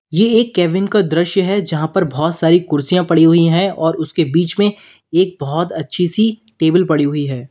ये एक केविन का दृश्य है जहां पर बोहोत सारी कुर्सियां पड़ी हुई हैं और उसके बीच में एक बोहोत अच्छी सी टेबल पड़ी हुई है।